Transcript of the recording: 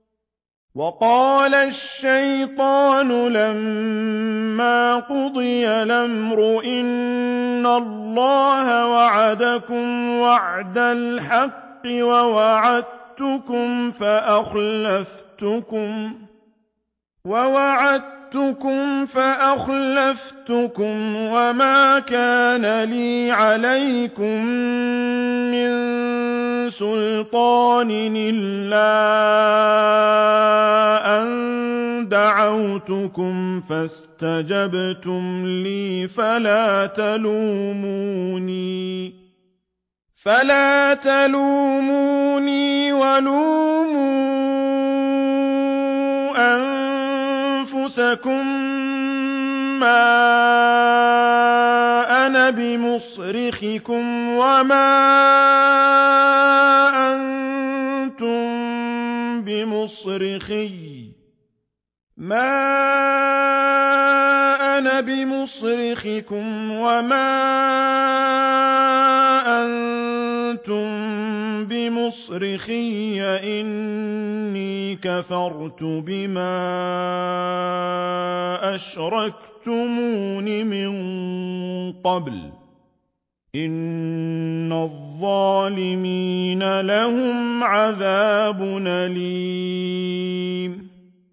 وَقَالَ الشَّيْطَانُ لَمَّا قُضِيَ الْأَمْرُ إِنَّ اللَّهَ وَعَدَكُمْ وَعْدَ الْحَقِّ وَوَعَدتُّكُمْ فَأَخْلَفْتُكُمْ ۖ وَمَا كَانَ لِيَ عَلَيْكُم مِّن سُلْطَانٍ إِلَّا أَن دَعَوْتُكُمْ فَاسْتَجَبْتُمْ لِي ۖ فَلَا تَلُومُونِي وَلُومُوا أَنفُسَكُم ۖ مَّا أَنَا بِمُصْرِخِكُمْ وَمَا أَنتُم بِمُصْرِخِيَّ ۖ إِنِّي كَفَرْتُ بِمَا أَشْرَكْتُمُونِ مِن قَبْلُ ۗ إِنَّ الظَّالِمِينَ لَهُمْ عَذَابٌ أَلِيمٌ